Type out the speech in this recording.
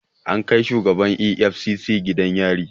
An kai shugaban EFCC gidan yari